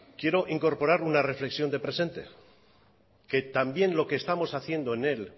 quiero incorporar una reflexión de presente que también lo que estamos haciendo en el